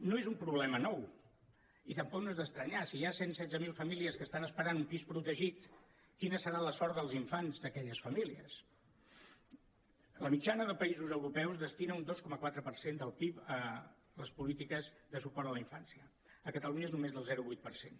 no és un problema nou i tampoc no és d’estranyar si hi ha cent setze mil famílies que estan esperant un pis protegit quina serà la sort dels infants d’aquelles famílies la mitjana de països europeus destina un dos coma quatre per cent del pib a les polítiques de suport a la infància a catalunya és només del zero coma vuit per cent